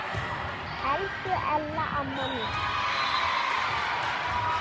Elsku Ella amma mín.